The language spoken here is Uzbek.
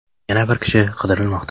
Yana bir kishi qidirilmoqda.